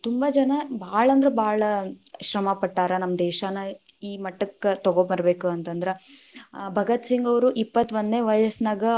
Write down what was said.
ತುಂಬಾ ಜನಾ ಭಾಳ ಅಂದ್ರ ಭಾಳ ಶ್ರಮಾ ಪಟ್ಟಾರ ನಮ್ಮ ದೇಶಾನಾ ಈ ಮಟ್ಟಕ್ಕ ತಗೋ ಬರಬೇಕು ಅಂತಂದ್ರ, ಭಗತ್‌ ಸಿಂಗ್‌ ಅವ್ರು ಇಪ್ಪತ್ತೋಂದನೆ ವಯಸ್ಸನಾಗ.